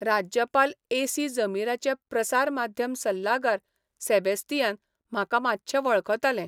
राज्यपाल S C जमीराचे प्रसार माध्यम सल्लागार सेबेस्तियान म्हाका मात्शे वळखताले.